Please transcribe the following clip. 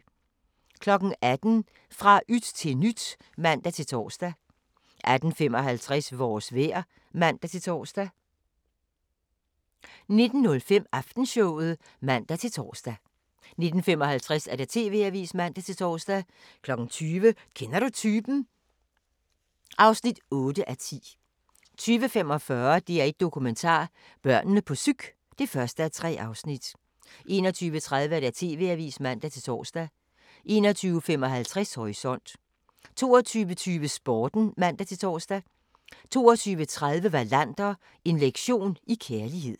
18:00: Fra yt til nyt (man-tor) 18:55: Vores vejr (man-tor) 19:05: Aftenshowet (man-tor) 19:55: TV-avisen (man-tor) 20:00: Kender du typen? (8:10) 20:45: DR1 Dokumentar: Børnene på psyk (1:3) 21:30: TV-avisen (man-tor) 21:55: Horisont 22:20: Sporten (man-tor) 22:30: Wallander: En lektion i kærlighed